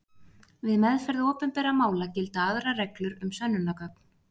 Við meðferð opinbera mála gilda aðrar reglur um sönnunargögn.